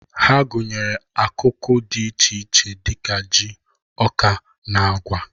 Ha gụnyere akụkụ dị iche iche dị ka ji, ọka, na agwa